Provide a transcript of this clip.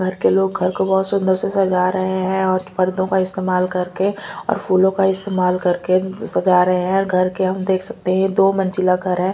घर के लोग घर को बहुत सुंदर से सजा रहे हैं और पर्दों का इस्तेमाल करके और फूलों का इस्तेमाल करके सजा रहे हैं घर के हम देख सकते हैं दो मंजिला घर है।